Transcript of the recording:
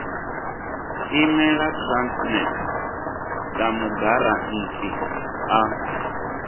imela transnet sa mugarantii a